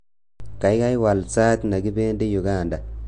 Kaikai wal sait nekibendi Uganda